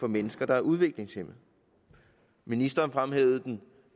mennesker der er udviklingshæmmede ministeren fremhævede